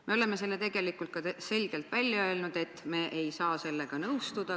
Me oleme selle tegelikult ka selgelt välja öelnud, et me ei saa sellega nõustuda.